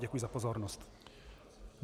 Děkuji za pozornost.